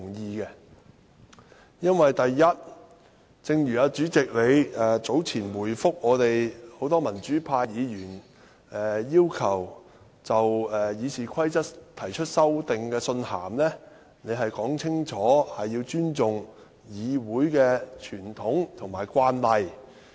第一，因為正如主席早前回覆很多民主派議員要求就《議事規則》提出修訂的信函清楚說出，要尊重議會的傳統和慣例。